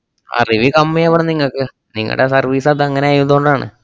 ആ review കമ്മിയാവണം നിങ്ങക്ക്, നിങ്ങടെ service -അതങ്ങനെ ആയതുകൊണ്ടാണ്